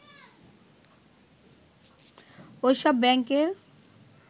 ওইসব ব্যাংকের